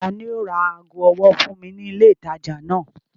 Ta ni yóò ra ago ọwọ́ fún mi ní ilé-ìtajà náà?